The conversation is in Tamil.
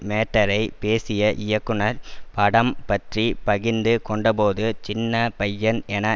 மேட்டரை பேசிய இயக்குனர் படம் பற்றி பகிர்ந்து கொண்டபோது சின்ன பையன் என